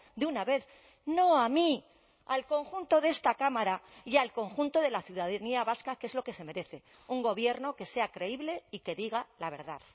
de una vez no a mí al conjunto de esta cámara y al conjunto de la ciudadanía vasca que es lo que se merece un gobierno que sea creíble y que diga la verdad